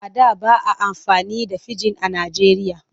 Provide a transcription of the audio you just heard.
A da ba a amfani da fijin a Nijeriya.